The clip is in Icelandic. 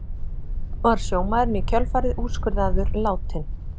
Var sjómaðurinn í kjölfarið úrskurðaður látinn